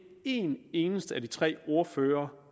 én eneste af de tre ordførere